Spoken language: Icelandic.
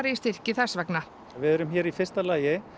í styrki þess vegna við erum hér í fyrsta lagi